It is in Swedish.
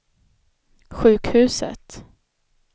sjukhuset